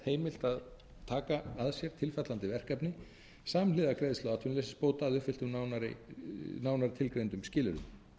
heimilt að taka að sér tilfallandi verkefni samhliða greiðslu atvinnuleysisbóta að uppfylltum nánar tilgreindum skilyrðum